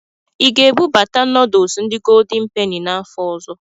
Ị ga-ebubata nọdụsụ ndi goldin peni n'afọ ọzọ?